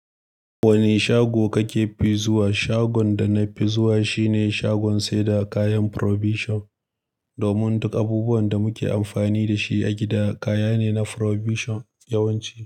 Wane shago kake fi zuwa? Shagon da na fi zuwa shine shagon saida kayan provision. Domin duk abubuwan da muke amfani da shi a gida kaya ne na provision yawanci.